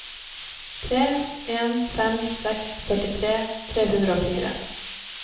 tre en fem seks førtitre tre hundre og fire